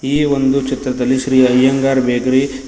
ಈ ಒಂದು ಚಿತ್ರದಲ್ಲಿ ಶ್ರೀ ಅಯ್ಯಂಗಾರ್ ಬೇಕರಿ --